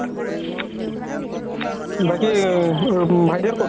বাকি ভাইতি হ'ত ক'ত?